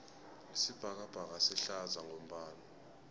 isibhakabhaka sihlaza ngombala